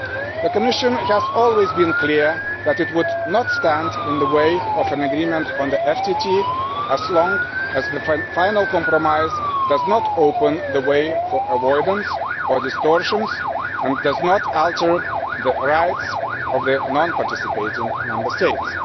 The Commission has always been clear that it would not stand in the way of an agreement on the FTT, as long as the final compromise does not open the way for avoidance or distortions and does not alter the rights of the non participating Member States.